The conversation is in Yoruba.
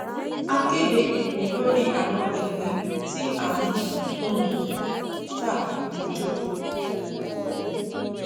a kéde ìpín lórí àwọn ìpín tá a ń um ta lójò